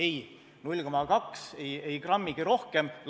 Ei, 0,2%, ei grammigi rohkem.